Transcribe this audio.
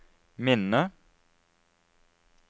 minne